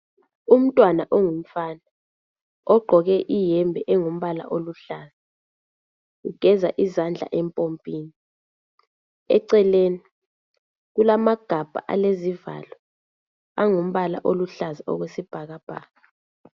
Umntwana ongumfana ogqoke iyembe engumbala oluhlaza ugeza izandla empompini, eceleni kulamagabha alezivalo angumbala oluhlaza okwesibhakabhaka.